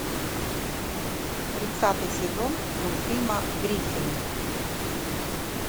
тридцатый сезон мультфильма гриффины